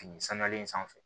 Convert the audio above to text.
Fini sanulen sanfɛ